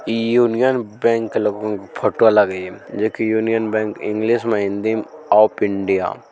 Union Bank photo लागई जो कि यूनियन बैंक इंग्लिश में हिंदी में ऑफ इंडिया ।